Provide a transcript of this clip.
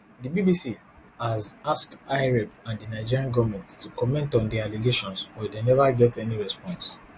di bbc has ask hyprep and di nigerian goment to comment on di allegations but neva get any response